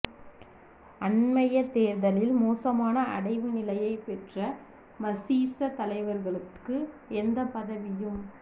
அண்மைய தேர்தலில் மோசமான அடைவு நிலையைப் பெற்ற மசீச தலைவர்களுக்கு எந்தப் பதவியும்